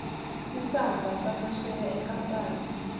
isamba samasheya enkampani